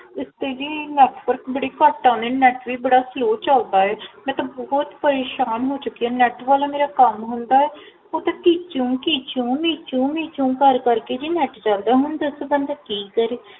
ਇਸ ਤੇ ਜੀ Network ਬੜਾ ਘਟ ਆਂਦੇ Network ਬੜਾ Slow ਚਲਦਾ ਹੈ ਮੈ ਤਾ ਬਹੁਤ ਪਰੇਸ਼ਾਨ ਹੋ ਚੁਕੀ ਹਾਂ Net ਵਾਲਾ ਮੇਰਾ ਕਮ ਹੁੰਦਾ ਹੈ ਉਹ ਕੀਚੋ ਕੀਚੋ ਕਰ ਕਰ ਕੇ ਨੈਟ ਚਲਦਾ ਹੈ ਹੁਣ ਦੱਸੋ ਬੰਦਾ ਕੀ ਕਰੇ